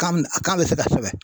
Kan kan bɛ se ka sɛbɛn.